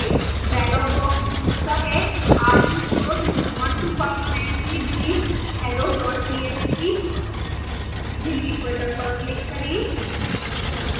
dialog box पूछता है are you sure you want to permanently delete hello txt delete box पर click करें